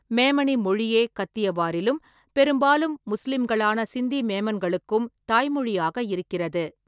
மேமனி மொழியே கத்தியவாரிலும் பெரும்பாலும் முஸ்லிம்களான சிந்தி மேமன்களுக்கும் தாய்மொழியாக இருக்கிறது.